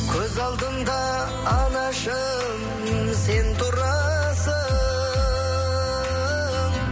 көз алдымда анашым сен тұрасың